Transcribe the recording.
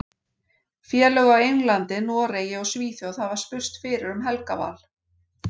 Félög á Englandi, Noregi og Svíþjóð hafa spurst fyrir um Helga Val.